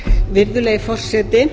virðulegi forseti